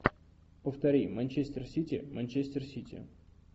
повтори манчестер сити манчестер сити